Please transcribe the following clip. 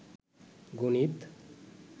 গণিত